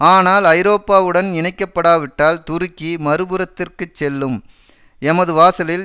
ஆனால் ஐரோப்பாவுடன் இணக்கப்படாவிட்டால் துருக்கி மறுபுறத்திற்குச் செல்லும் எமது வாசலில்